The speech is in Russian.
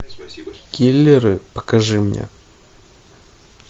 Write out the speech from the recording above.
киллеры покажи мне